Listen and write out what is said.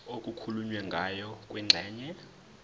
okukhulunywe ngayo kwingxenye